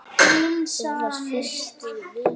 Þú varst fyrsti vinur minn.